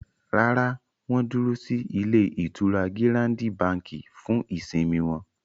Rárá, wọ́n dúró sí ilé-ìtura Gírándi Bàǹkì fún ìsimi wọn.